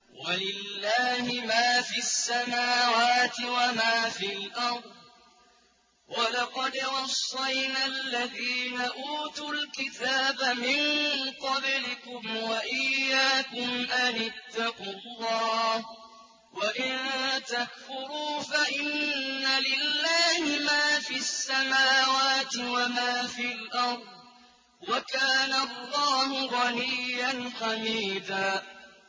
وَلِلَّهِ مَا فِي السَّمَاوَاتِ وَمَا فِي الْأَرْضِ ۗ وَلَقَدْ وَصَّيْنَا الَّذِينَ أُوتُوا الْكِتَابَ مِن قَبْلِكُمْ وَإِيَّاكُمْ أَنِ اتَّقُوا اللَّهَ ۚ وَإِن تَكْفُرُوا فَإِنَّ لِلَّهِ مَا فِي السَّمَاوَاتِ وَمَا فِي الْأَرْضِ ۚ وَكَانَ اللَّهُ غَنِيًّا حَمِيدًا